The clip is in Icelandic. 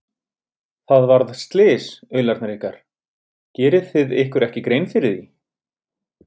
Það varð slys, aularnir ykkar, gerið þið ykkur ekki grein fyrir því?